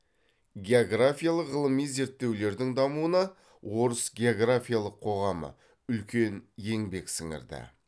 географиялық ғылыми зерттеулердің дамуына орыс географиялық қоғамы үлкен еңбек сіңірді